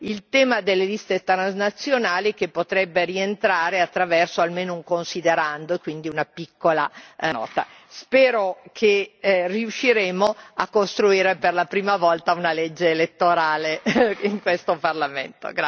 il tema delle liste transnazionali, che potrebbe rientrare attraverso almeno un considerando, e quindi una piccola nota. Spero che riusciremo a costruire, per la prima volta, una legge elettorale in questo Parlamento.